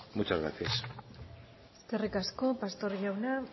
muchas gracias eskerrik asko pastor jauna